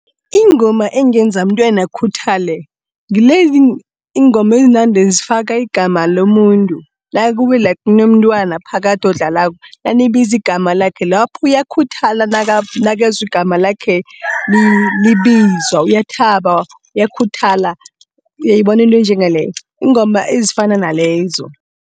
Ingoma engenza umntwana akhuthale, ngilezi iingoma ezinande zifaka igama lomuntu. Nakube like kunomntwana phakathi odlalako, nanibizi igama lakhe, lapho uyakhuthala nakezwa igama lakhe libizwa. Uyathaba, uyakhuthala uyayibona into enjengaleyo iingoma ezifana nalezo.